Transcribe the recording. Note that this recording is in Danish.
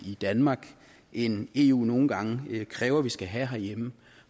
i danmark end eu nogle gange kræver vi skal have herhjemme